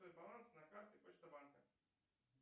баланс на карте почта банка